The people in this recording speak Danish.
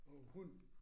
Og hund